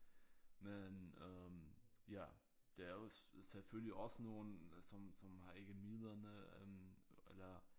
Men øh ja der er også selvfølgelig også nogle som som har ikke midlerne øh eller